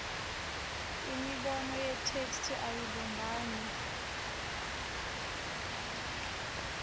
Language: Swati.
imibono yetheksthi ayibumbani